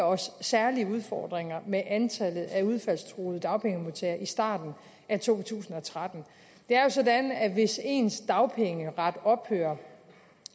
os særlige udfordringer med antallet af udfaldstruede dagpengemodtagere i starten af to tusind og tretten det er jo sådan at hvis ens dagpengeret ophører